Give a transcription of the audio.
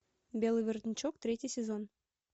белый воротничок третий сезон